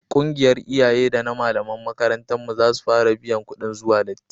ƙungiyar iyaye da na malaman makarantar mu za su fara biyan kudin zuwa lati